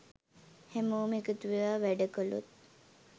හැමෝම එකතුවෙලා වැඩ කළොත්